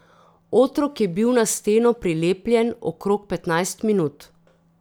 Otrok je bil na steno prilepljen okrog petnajst minut.